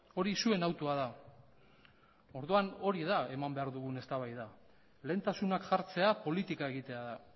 hori zuen autua da orduan hori da eman behar dugun eztabaida lehentasunak jartzea politika egitea da